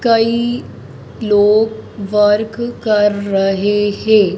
कई लोग वर्क कर रहे हैं।